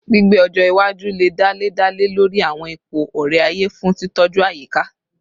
Gbigbe ọjọ iwaju le dale dale lori awọn ipo ore-aye fun titọju ayika